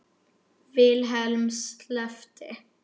Vilhelm sleppti